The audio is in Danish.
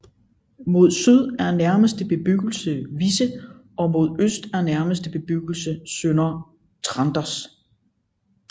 Mod syd er nærmeste bebyggelse Visse og mod øst er nærmeste bebyggelse Sønder Tranders